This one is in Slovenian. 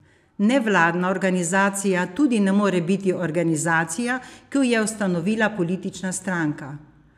Nevladna organizacija tudi ne more biti organizacija, ki jo je ustanovila politična stranka.